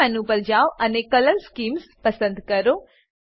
view menu પર જાવ અને કલર સ્કીમ્સ પસંદ કરો